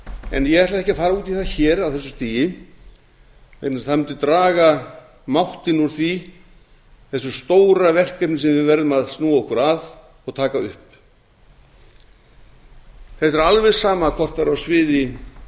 en ég ætla ekki að fara út í það hér á þessu stigi vegna þess að það mundi draga máttinn úr þessu stóra verkefni sem við verðum að snúa okkur að og taka upp þetta er alveg sama hvort það er á sviði